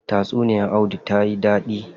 Tatsuniya audu tayi dadi.